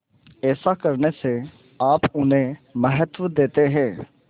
ऐसा करने से आप उन्हें महत्व देते हैं